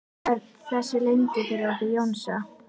Örn þessu leyndu fyrir okkur Jónsa?